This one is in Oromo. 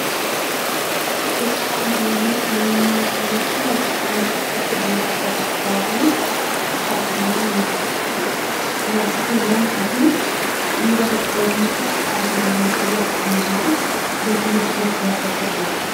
Suuraan armaan olii kan inni nutti argisiisu suuraa namoota sadii bakka bittaa fi gurgurtaa bunaa nama tokkoottidha. Dubartoota lamaa fi dhiira tokko yommuu ta'u, haati manaa fi abbaan manaa gatii bunaa gaafachaa jiru.